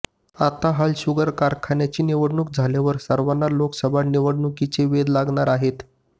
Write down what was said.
आता हालशुगर कारखान्याची निवडणूक झाल्यावर सर्वांना लोकसभा निवडणुकीचे वेध लागणार आहेत